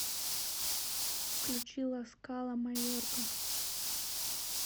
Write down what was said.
включи ласкала майорка